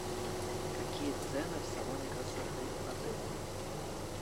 какие цены в салоне красоты отеля